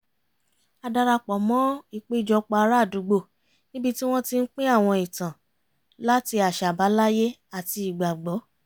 a darapọ̀ mọ́ ìpéjọpọ̀ ará àdúgbò níbi tí wọ́n ti ń pín àwọn ìtàn láti àṣà àbáláyé àti ìgbàgbọ́